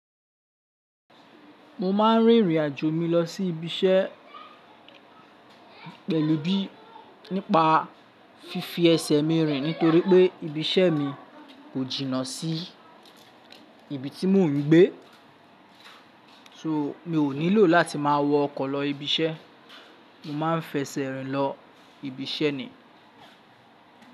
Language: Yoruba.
Mo máa ń rìnrìnàjò mi lọ sí ibiṣẹ́ pẹ̀lú bí nípa fífi ẹsẹ̀ mi rìn nítorí pé ibiṣẹ́ mi kò jìnnà sí ibi tí mò ń gbé. So mi ò nílò láti máa wọ ọkọ̀ lọ ibiṣẹ́. Mo máa ń fẹsẹ̀ rìn lọ ibiṣẹ́ ni.